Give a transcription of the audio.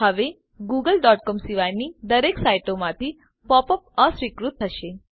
હ0વે googleસીઓએમ સિવાયની દરેક સાઈટોમાંથી પોપ અપ અસ્વીકૃત થશે